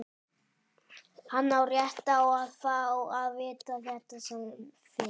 Hann á rétt á að fá að vita þetta sem fyrst.